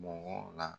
Mɔgɔ la